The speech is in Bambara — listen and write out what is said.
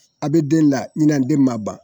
A be den la ɲinɛ den ma ban.